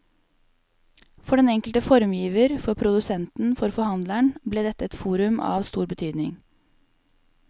For den enkelte formgiver, for produsenten, for forhandleren ble dette et forum av stor betydning.